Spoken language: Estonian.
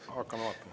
Hakkame vaatama.